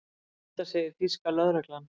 Þetta segir þýska lögreglan